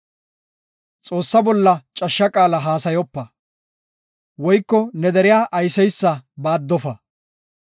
“Xoossaa bolla cashsha qaala haasayopa, woyko ne deriya ayseysa baaddofa.